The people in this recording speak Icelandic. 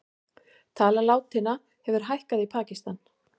Tala látinna hefur hækkað í Pakistan